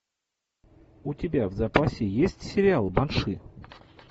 у тебя в запасе есть сериал банши